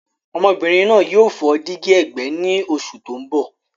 Ọmọbìnrin náà yóò fọ́ dígí ẹ̀gbẹ́ ní oṣù tó ń bọ̀.